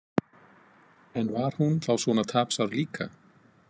En var hún þá svona tapsár líka?